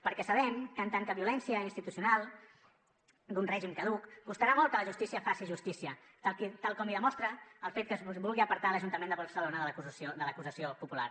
perquè sabem que en tant que violència institucional d’un règim caduc costarà molt que la justícia faci justícia tal com ho demostra el fet que es vulgui apartar l’ajuntament de barcelona de l’acusació popular